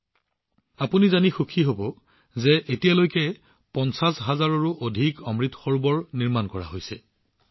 আপোনালোকে জানি আনন্দিত হব যে এতিয়ালৈকে ৫০ হাজাৰৰো অধিক অমৃত সৰোবৰ নিৰ্মাণ কৰা হৈছে